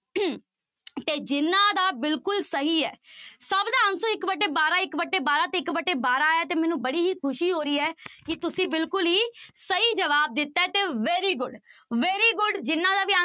ਤੇ ਜਿਹਨਾਂ ਦਾ ਬਿਲਕੁਲ ਸਹੀ ਹੈ ਸਭ ਦਾ answer ਇੱਕ ਵਟੇ ਬਾਰਾਂ, ਇੱਕ ਵਟੇ ਬਾਰਾਂ ਤੇ ਇੱਕ ਵਟੇ ਬਾਰਾਂ ਆਇਆ ਤੇ ਮੈਨੂੰ ਬੜੀ ਹੀ ਖ਼ੁਸ਼ੀ ਹੋ ਰਹੀ ਹੈ ਕਿ ਤੁਸੀਂ ਬਿਲਕੁਲ ਹੀ ਸਹੀ ਜਵਾਬ ਦਿੱਤਾ ਹੈ ਤੇ very good, very good ਜਿਹਨਾਂ ਦਾ ਵੀ